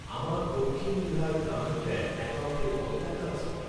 আমার দক্ষিণ বিহার গ্রামীণ ব্যাঙ্ক অ্যাকাউন্টে কত টাকা বাকি আছে?